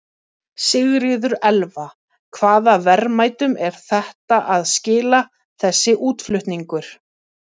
Sigríður Elva: Hvaða verðmætum er þetta að skila, þessi útflutningur?